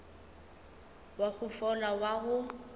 wa go fola wa go